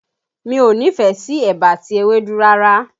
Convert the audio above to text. Mi ò nífẹ̀ẹ́ sí ẹ̀bà àti ewédú rárá